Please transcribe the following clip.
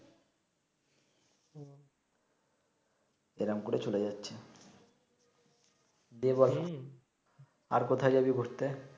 এইরম করে চলে যাচ্ছে ডে অয়ান আর কোথায় জাবি ঘুরতে